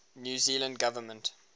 new zealand government